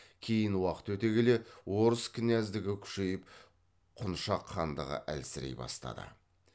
кейін уақыт өте келе орыс княздігі күшейіп құншақ хандығы әлсірей бастады